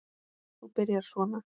Þú byrjar svona.